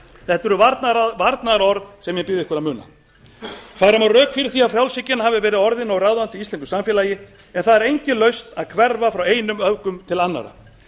þetta eru varnaðarorð sem ég bið ykkur að muna færa má rök fyrir því að frjálshyggjan hafi verið orðin of ráðandi í íslensku samfélagi en það er engin lausn að hverfa frá einum öfgum til annarra